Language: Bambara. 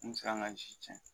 N mi se ka n ka si cɛn